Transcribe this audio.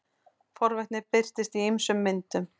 forvitni birtist í ýmsum myndum